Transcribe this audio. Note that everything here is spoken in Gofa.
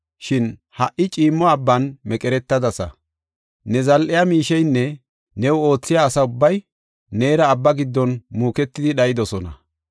Shin ha77i ciimmo abban meqeretadasa; ne zal7e miisheynne new oothiya asa ubbay, neera abba giddon muuketidi dhayidosona.